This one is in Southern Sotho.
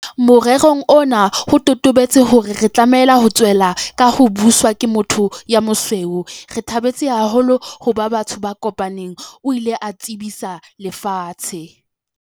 Morerong ona ho totobetse hore re tlameha ho tswella ka ho buswa ke motho ya mosweu. "Re thabetse haholo ho ba batho ba kopaneng," o ile a tsebisa lefatshe.